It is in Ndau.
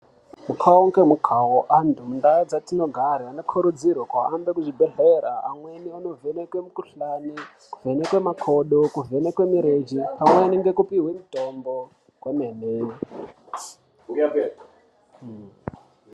Mukavo ngemukavo antu mundaa dzatinogara anokurudzirwe kuhamba kuzvibhedhlera. Amweni vanovhenekwe mikuhlani, kuvhenekwe makodo, kuvhenekwe mirenje pamweni ngekupihwe mutombo kwemene.